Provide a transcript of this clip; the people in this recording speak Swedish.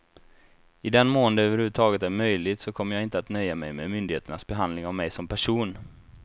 I den mån det över huvud taget är möjligt så kommer jag inte att nöja mig med myndigheternas behandling av mig som person.